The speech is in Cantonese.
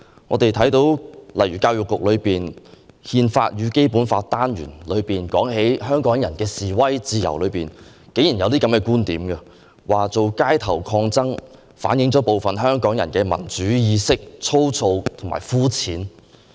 我們看到在教育局的"憲法與《基本法》"單元中提到香港人的示威自由時，竟然有以下觀點：作出街頭抗爭，反映部分香港人的民主意識粗糙和膚淺。